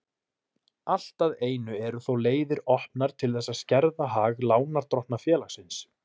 Allt að einu eru þó leiðir opnar til þess að skerða hag lánardrottna félagsins.